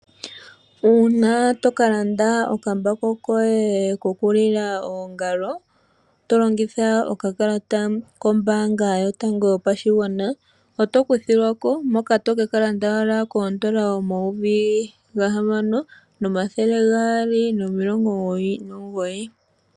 Uuna toka landa okambako koye koku lila oongalo to longitha okakalata kombanga yotango yopashigwana. Oto kuthilwako. Moka tokeka landa owala koodollar omayovi gahamano nomathele gaali nomilongo omugoyi nomugoyi.